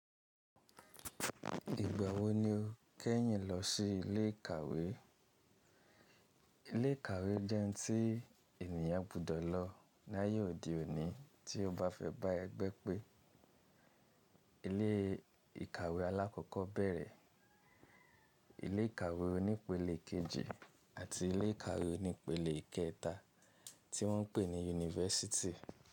Ìgbà wo ni o kẹ́ yín lọ sí ilé ìkàwé? Ilé ìkàwé jẹ́ tí ènìyàn gbudọ̀ lọ ní ayé òde òní tí ó bá fẹ́ bá ẹgbẹ́ pé. Ilé ìkàwé alákọ̀ọ́bẹ̀rẹ̀, ilé ìkàwé onípele kejì àti ilé ìkàwé onípele ìkẹta tí wọ́n ń pè ní Yunifásítì.